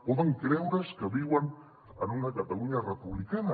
poden creure’s que viuen en una catalunya republicana